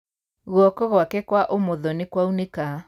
Guoko gwake kwa ūmothi nīkwaunīka.